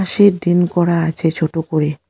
সেডিন করা আছে ছোট করে।